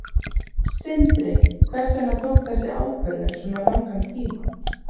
Sindri: Hvers vegna tók þessi ákvörðun svona langan tíma?